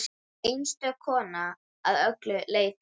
Einstök kona að öllu leyti.